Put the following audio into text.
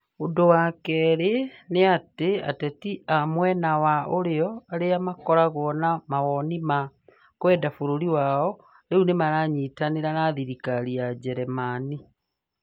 Ũndũ wa kerĩ nĩ atĩ, ateti a mwena wa ũrĩo, arĩa makoragwo na mawoni ma kwenda bũrũri wao, rĩu nĩ maranyitanĩra na thirikari ya Njĩrĩmani.